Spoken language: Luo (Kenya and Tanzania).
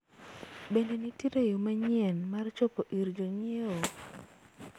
bende nitiere yo manyien mar chopo ir jonyiewo